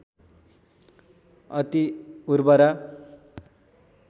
अति उर्वरा